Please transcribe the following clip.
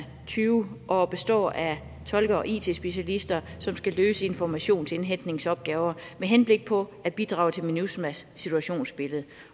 tyve og består af tolke og it specialister som skal løse informationsindhentningsopgaver med henblik på at bidrage til minusma s situationsbillede